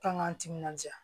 Kan k'an timinandiya